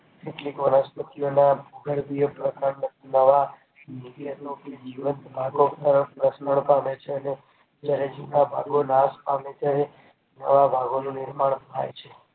કેટલીક વનસ્પતિ ઓ માં પ્રકાંડ દ્વારા કેટલાક ભાગો નાશ પામે છે અને નવા ભાગોનું નિર્માણ થાય છે